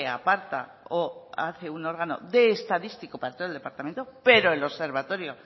aparta o hace un órgano de estadístico para todo el departamento pero el observatorio